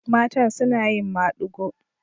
Matan suna yin maɗigo.